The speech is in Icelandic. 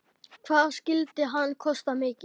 Hvað skyldi hann kosta mikið?